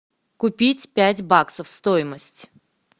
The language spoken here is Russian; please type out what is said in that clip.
купить пять баксов стоимость